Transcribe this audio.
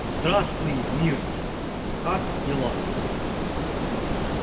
здравствуй миртл как дела